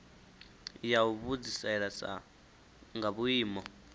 ya u vhudzisesa nga vhuimo